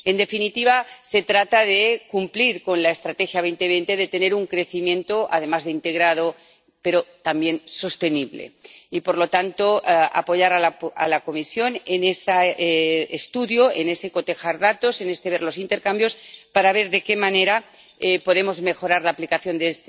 En definitiva, se trata de cumplir con la Estrategia 2020 de tener un crecimiento integrado, pero también sostenible, y, por lo tanto, de apoyar a la Comisión en ese estudio, en ese cotejar datos, en este ver los intercambios para ver de qué manera podemos mejorar la aplicación de